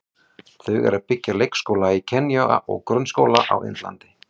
Þau eru að byggja leikskóla í Kenýa og grunnskóla á Indlandi.